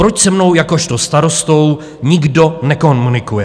Proč se mnou jakožto starostou nikdo nekomunikuje?